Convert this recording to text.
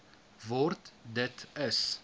word dit is